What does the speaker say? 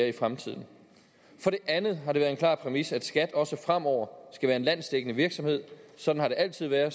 i fremtiden for det andet har det været en klar præmis at skat også fremover skal være en landsdækkende virksomhed sådan har det altid været og